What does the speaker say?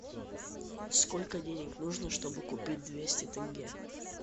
сколько денег нужно чтобы купить двести тенге